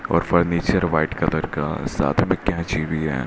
और furniture white colour का साथ में कैची भी है।